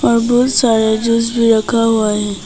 और बहुत सारे जूस भी रखा हुआ है।